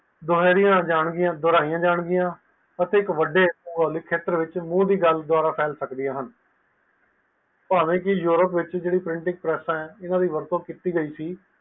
ਦੁਹਰਾਈਆਂ ਜਾਣਗੀਆਂ ਅਤੇ ਇਕ ਵੱਡੇ ਪੋਲੀਟਿਕ ਸੈਕਟਰ ਵਿਚ ਮੂਲ ਦੀ ਗੱਲ ਫੇਲ ਸਕਦੀ ਪਾਵੇ ਕਿ ਯੂਰੋਪ ਵਿਚ ਪ੍ਰਿੰਟਿੰਗ ਪ੍ਰਥਾਇ ਹੈ ਉਸਦੀ ਵਰਤੋਂ ਕੀਤੀ ਗਯੀ ਸੀ